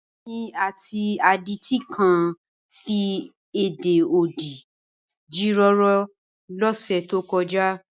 Èmi àti adití kan fi èdè odi jíròrò lọ́sẹ̀ tó kọjá.